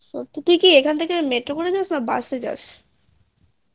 তুই এখান থেকে metro করে যাস না বাসে যাস